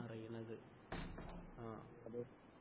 അറിയുന്നത്